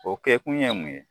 O kɛkun ye mun ye